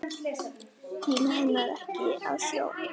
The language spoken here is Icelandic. Tími henni ekki á sjóinn!